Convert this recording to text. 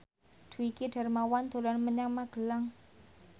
Dwiki Darmawan dolan menyang Magelang